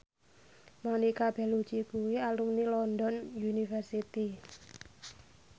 Monica Belluci kuwi alumni London University